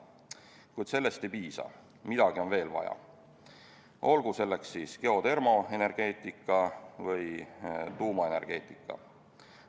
Kuid sellest ei piisa, midagi on veel vaja, olgu selleks siis geotermoenergeetika või tuumaenergeetika.